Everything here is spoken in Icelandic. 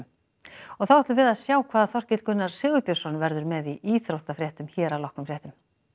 og þá ætlum við að sjá hvað Þorkell Gunnar Sigurbjörnsson verður með í íþróttafréttum hér að loknum fréttum